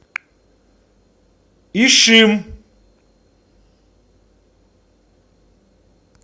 ишим